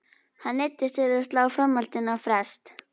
Hann neyddist til að slá framhaldinu á frest.